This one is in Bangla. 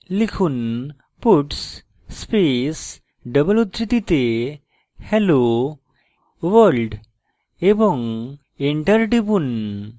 লিখুন puts space double উদ্ধৃতিতে hello world এবং enter টিপুন